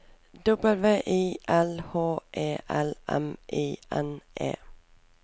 W I L H E L M I N E